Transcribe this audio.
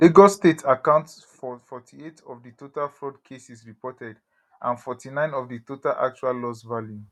lagos state account for 48 of di total fraud cases reported and 49 of di total actual loss value